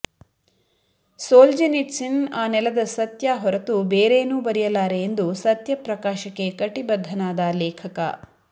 Solzhenitsyn ಆ ನೆಲದ ಸತ್ಯ ಹೊರತು ಬೇರೇನೂ ಬರೆಯಲಾರೆ ಎಂದು ಸತ್ಯ ಪ್ರಕಾಶಕ್ಕೆ ಕಟಿಬದ್ದನಾದ ಲೇಖಕ